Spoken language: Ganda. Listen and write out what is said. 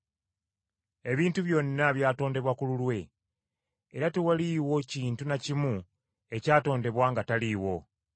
Ebintu byonna byatondebwa ku lulwe, era tewaliiwo kintu na kimu ekyatondebwa nga taliiwo.